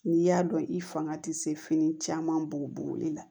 N'i y'a dɔn i fanga tɛ se fini caman b'o boli la